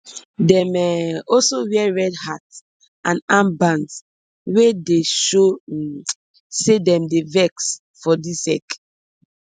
dem um also wear red hats and armbands wia dey show um say dem dey vex for di ec